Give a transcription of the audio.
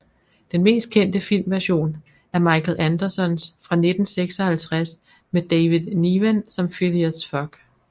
Den mest kendte filmversion er Michael Andersons fra 1956 med David Niven som Phileas Fogg